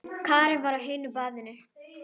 Karen var á hinu baðinu.